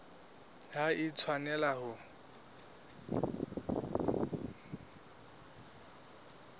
ha e a tshwanela ho